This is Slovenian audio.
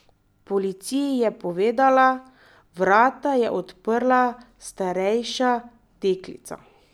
Policiji je povedala: 'Vrata je odprla starejša deklica.